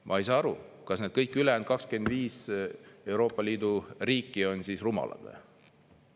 " Ma ei saa aru, kas need kõik ülejäänud 25 Euroopa Liidu riiki on rumalad.